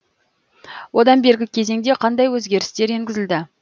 одан бергі кезеңде қандай өзгерістер енгізілді